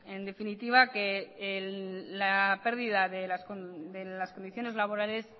en definitiva que la pérdida de las condiciones laborales